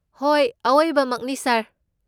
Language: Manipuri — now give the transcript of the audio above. ꯍꯣꯏ, ꯑꯋꯣꯏꯕꯃꯛꯅꯤ, ꯁꯥꯔ